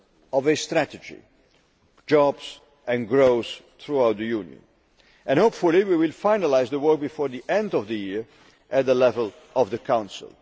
of a strategy jobs and growth throughout the Union. Hopefully we will finalise the work before the end of the year at the level of the Council.